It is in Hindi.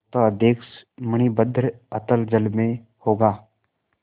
पोताध्यक्ष मणिभद्र अतल जल में होगा